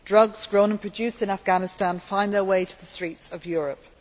Drugs grown and produced in Afghanistan find their way to the streets of Europe.